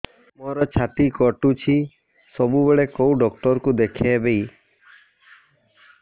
ମୋର ଛାତି କଟୁଛି ସବୁବେଳେ କୋଉ ଡକ୍ଟର ଦେଖେବି